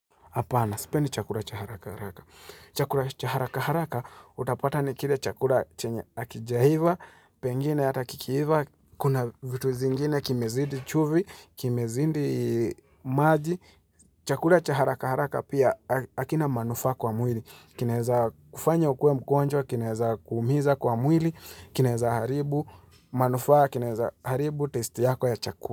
Hapana. Sipendi chakura cha haraka haraka. Chakura cha haraka haraka utapata ni kile chakura chenye akijahiva, pengine ata kikiiva, kuna vitu zingine kimezidi chuvi, kimezindi maji. Chakura cha haraka haraka pia akina manufaa kwa mwili. Kinaeza kufanya ukuwe mkwonjwa, kinaeza kuumiza kwa mwili, kinaeza haribu, manufaa, kinaeza haribu testi yako ya chakura.